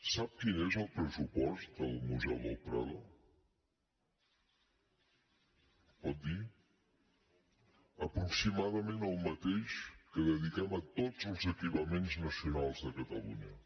sap quin és el pressupost del museu del prado me’l pot dir aproximadament el mateix que dediquem a tots els equipaments nacionals de catalunya